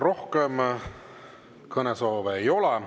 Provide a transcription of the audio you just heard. Rohkem kõnesoove ei ole.